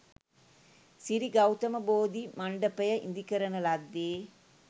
සිරි ගෞතම බෝධි මණ්ඩපය ඉදිකරන ලද්දේ